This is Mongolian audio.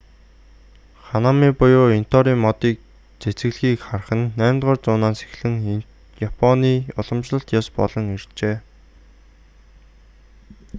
ханами буюу интоорын мод цэцэглэхийг харах нь 8-р зуунаас эхлэн японы уламжлалт ёс болон иржээ